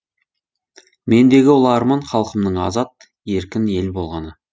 мендегі ұлы арман халқымның азат еркін ел болғаны